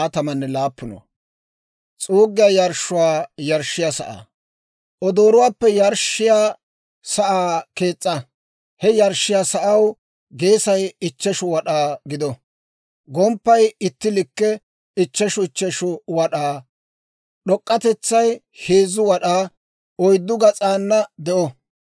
«Odooruwaappe yarshshiyaa sa'aa kees's'a. He yarshshiyaa sa'aw geesay ichcheshu wad'aa gido; gomppaynne itti likke, ichcheshu ichcheshu wad'aa; d'ok'k'atetsay heezu wad'aa, oyddu gas'ana de'o.